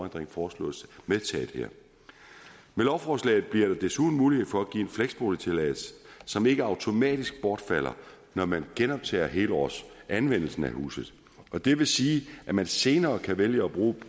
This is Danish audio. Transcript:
der foreslås her med lovforslaget bliver der desuden mulighed for at give en fleksboligtilladelse som ikke automatisk bortfalder når man genoptager helårsanvendelsen af huset det vil sige at man senere kan vælge at bruge